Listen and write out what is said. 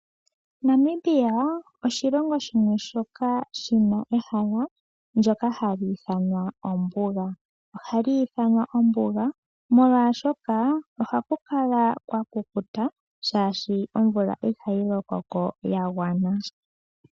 Namibia oshilongo shimwe shoka shina ehala ndyoka hali ithanwa ombuga. Ohali ithanwa ombuga molwashoka ohaku kala kwa kukuta shaashi omvula ihayi lokoko yagwana.